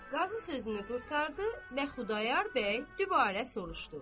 Qazı sözünü qurtardı, nə Xudayar bəy dübarə soruşdu.